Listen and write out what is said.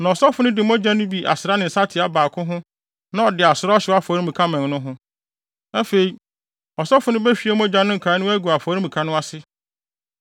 Na ɔsɔfo no de mogya no bi asra ne nsateaa baako ho na ɔde asra ɔhyew afɔremuka mmɛn no ho. Afei, ɔsɔfo no behwie mogya no nkae no agu afɔremuka no ase.